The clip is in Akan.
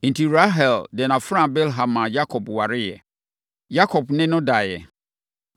Enti, Rahel de nʼafenaa Bilha maa Yakob wareeɛ. Yakob ne no daeɛ.